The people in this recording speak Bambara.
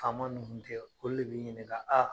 Faama nun kun tɛ, olu de b'i ɲininka